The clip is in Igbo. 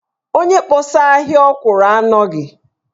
Onye kpọsaa ahịa ọkwụrụ a anọghị.